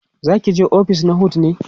zakije ofis na HOD ne?